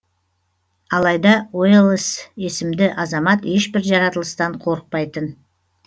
алайда уэллэс есімді азамат ешбір жаратылыстан қорықпайтын